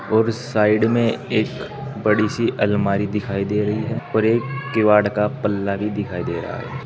और साइड में एक बड़ी सी अलमारी दिखाई दे रही है और एक किवाड़ का पल्ला भी दिखाई दे रहा है।